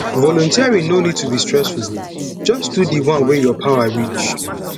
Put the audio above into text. volunteering no nid to be stressful jus do di one wey yur power reach